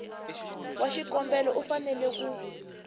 wa xikombelo u fanele ku